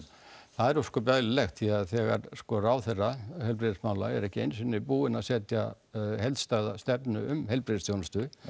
það er ósköp eðlilegt því að þegar sko ráðherra heilbrigðismála er ekki einu sinni búinn að setja heildstæða stefnu um heilbrigðisþjónustu